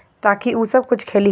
ताकि ऊ सब कुछ खेली ह--